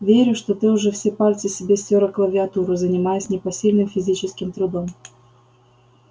верю что ты уже все пальцы себе стёр о клавиатуру занимаясь непосильным физическим трудом